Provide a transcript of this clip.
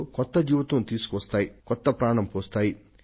అయినప్పటికీ కొన్ని సంఘటనలు ఈ నినాదానికి ఒక కొత్త ఊపిరిని ఊదుతున్నాయి